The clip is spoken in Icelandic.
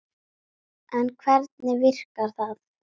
En hvernig virkar það?